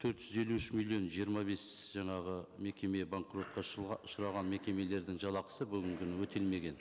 төрт жүз елу үш миллион жиырма бес жаңағы мекеме банкротқа ұшыраған мекемелердің жалақысы бүгінгі күні өтелмеген